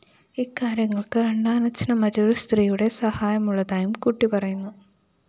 ഇക്കാര്യങ്ങള്‍ക്ക് രണ്ടാനച്ഛന് മറ്റൊരു സ്ത്രീയുടെ സഹായമുള്ളതായും കുട്ടി പറയുന്നു